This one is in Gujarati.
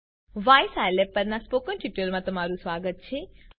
વાય સ્કિલાબ પરનાં સ્પોકન ટ્યુટોરીયલમાં તમારું સ્વાગત છે